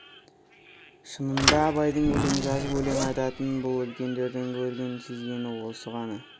шынында абайдың өлең жазып өлең айтатынын бұл үлкендердің көрген сезгені осы ғана